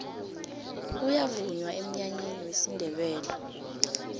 kuyavunywa eminyanyeni yesindebele